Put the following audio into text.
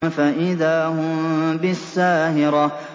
فَإِذَا هُم بِالسَّاهِرَةِ